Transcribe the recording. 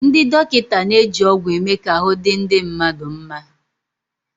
Ndị dọkịta na-eji ọgwụ eme ka ahụ́ di ndị mmadụ nma.